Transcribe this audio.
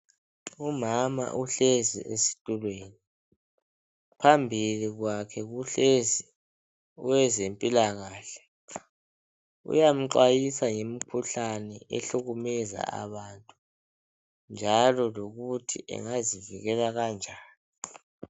Umama uhlezi estulweni phambili kwakhe kuhlezi owezempila kahle, uyamxwayisa ngemikhuhlane ehlukumeza abantu, njalo lokuthi engazivikela kanjani.